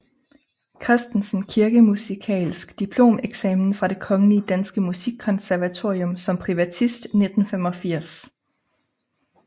Christensen Kirkemusikalsk Diplomeksamen fra Det Kongelige Danske Musikkonservatorium som privatist 1985